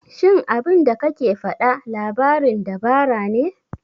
Shin abinda kake faɗa labarin dabara ne?